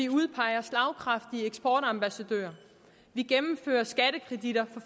udpeger slagkraftige eksportambassadører vi gennemfører skattekreditter